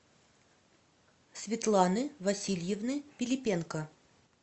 светланы васильевны пилипенко